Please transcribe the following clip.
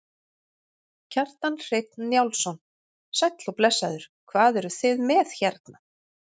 Kjartan Hreinn Njálsson: Sæll og blessaður, hvað eruð þið með hérna?